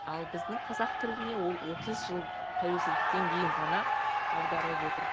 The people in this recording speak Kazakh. ал біздің қазақ тіліне ол отыз жыл тәуелсіздіктен кейін ғана аударылып отыр